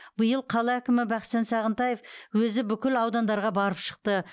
биыл қала әкімі бақытжан сағынтаев өзі бүкіл аудандарға барып шықты